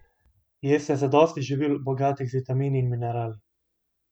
Jeste zadosti živil, bogatih z vitamini in minerali?